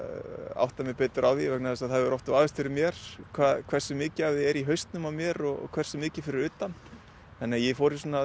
átta mig betur á því vegna þess að það hefur oft vafist fyrir mér hversu mikið af því er í hausnum á mér og hversu mikið fyrir utan þannig að ég fór í